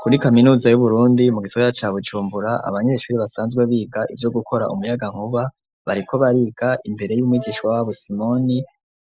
Kuri kaminuza y'Uburundi mu gisagara ca Bujumbura abanyeshuri basanzwe biga ivyo gukora umuyagankuba, bariko bariga imbere y'umwigisha wabo Simoni,